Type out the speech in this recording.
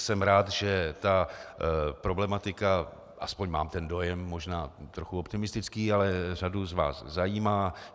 Jsem rád, že ta problematika, aspoň mám ten dojem, možná trochu optimistický, ale řadu z vás zajímá.